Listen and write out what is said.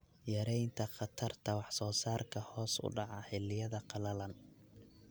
Yaraynta khatarta wax-soo-saarka hoos u dhaca xilliyada qalalan.